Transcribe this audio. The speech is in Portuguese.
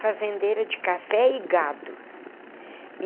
Fazendeira de café e gado.